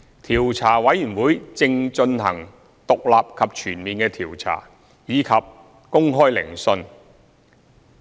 調查委員會正進行獨立及全面的調查，以及公開聆訊。